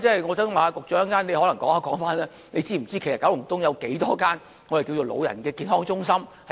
我想請局長稍後回應，他是否知道九龍東有多少間長者健康中心。